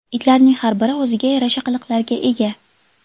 Itlarning har biri o‘ziga yarasha qiliqlarga ega.